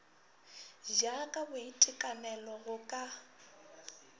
ja ka boitekanelo go ka